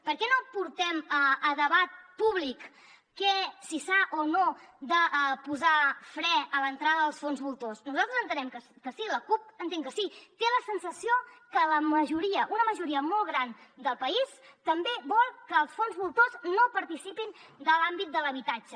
per què no portem a debat públic si s’ha o no de posar fre a l’entrada als fons voltors nosaltres entenem que sí la cup entén que sí té la sensació que la majoria una majoria molt gran del país també vol que els fons voltors no participin de l’àmbit de l’habitatge